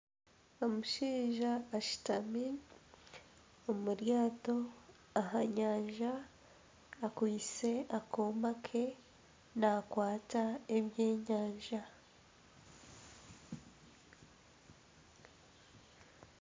Omushaija ashutami omu ryato aha nyanja akwaitse akooma ke naakwata ebyenyanja.